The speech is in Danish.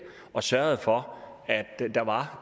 og sørget for at der var